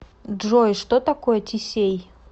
джой что такое тесей